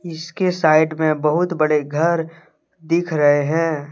इसके साइड में बहुत बड़े घर दिख रहे हैं